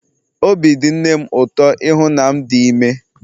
Obi dị nne m ụtọ ịhụ na m dị ime